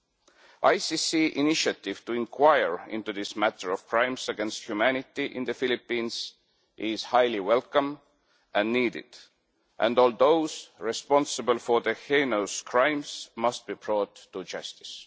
The ICC initiative to inquire into this matter of crimes against humanity in the Philippines is highly welcome and needed, and all those responsible for the heinous crimes must be brought to justice.